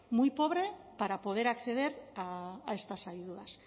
muy pobre para poder acceder a estas ayudas